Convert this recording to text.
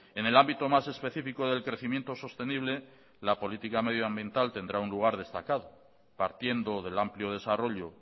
en el ámbito más específico del crecimiento sostenible la política medioambiental tendrá un lugar destacado partiendo del amplio desarrollo